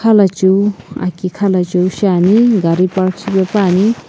khalacheu aki khala cheu shaene gari park shipae pani.